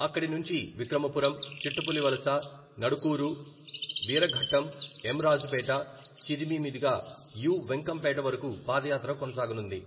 అక్కడి నుంచి విక్రమపురం, చిట్టపులి వలస, నడుకూరు, వీరఘట్టం, ఎం.రాజుపేట, చిదిమి మీదుగా యు.వెంకంపేట వరకు పాదయాత్ర కొనసాగనుంది.